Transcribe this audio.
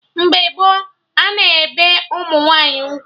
Mgbe gboo, a na-ebe ụmụ nwaanyị ugwu